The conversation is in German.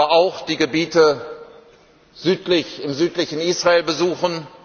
Wir werden aber auch die Gebiete im südlichen Israel besuchen.